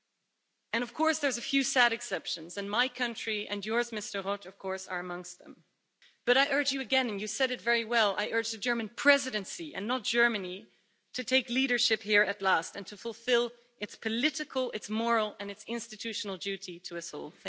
There are of course a few sad exceptions and my country and yours, Mr Roth, are amongst them. But I urge you again and you said it very well I urge the German Presidency, and not Germany, to take leadership here at last and to fulfil its political, its moral and its institutional duty to us all.